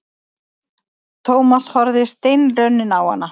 Thomas horfði steinrunninn á hana.